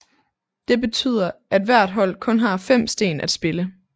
Det betyder at hvert hold kun har 5 sten at spille